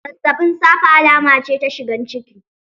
Zazzaɓin safe alama ce ta shigan ciki.